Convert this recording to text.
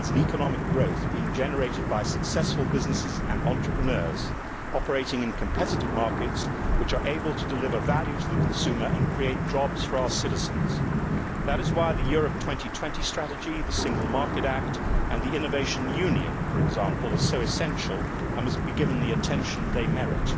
It lies in economic growth being generated by successful businesses and entrepreneurs, operating in competitive markets, which are able to deliver value to the consumer and create jobs for our citizens. That is why the Europe 2020 strategy, the Single Market Act, and the Innovation Union, for example, are so essential and must be given the attention they merit.